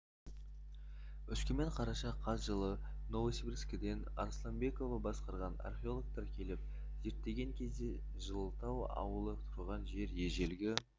өскемен қараша қаз жылы новосибирскіден арысланбекова басқарған археологтар келіп зерттеген кезде жылытау ауылы тұрған жер ежелгі